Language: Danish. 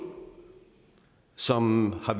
som har